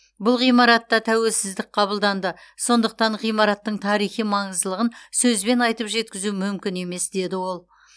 бұл ғимаратта тәуелсіздік қабылданды сондықтан ғимараттың тарихи маңыздылығын сөзбен айтып жеткізу мүмкін емес деді ол